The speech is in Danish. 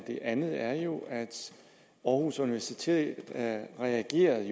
det andet er jo at aarhus universitet reagerede